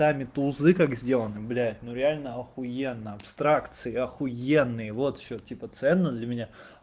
там и тузы как сделаны блядь ну реально ахуенно абстракции ахуенные вот что типа ценно для меня